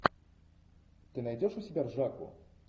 ты найдешь у себя ржаку